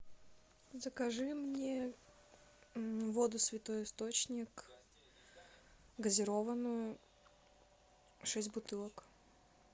закажи мне воду святой источник газированную шесть бутылок